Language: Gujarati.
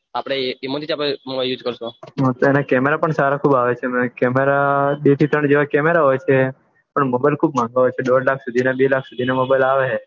આપડે તેના કેમેરા પન સારા ખુબ આવે બે થી ત્રણ કેમેરા જેવા કેમેરા આવે છે પન બજેટ ખુબ દોઢ થી બે લાખ સુથી ના મોબાઇલ આવે હે